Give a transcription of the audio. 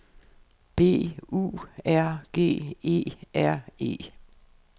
B U R G E R E